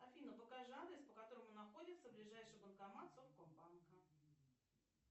афина покажи адрес по которому находится ближайший банкомат совкомбанка